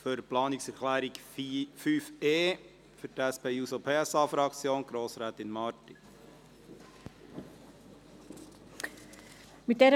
Für die Planungserklärung 5.e hat für die SP-JUSO-PSA-Fraktion Grossrätin Marti das Wort.